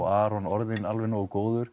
Aron orðinn alveg nógu góður